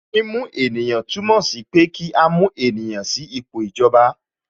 Mímú ènìyàn túmọ̀ sí pé kí a mú ènìyàn sí ipò ìjọba